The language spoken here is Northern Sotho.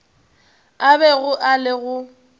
a bego a le go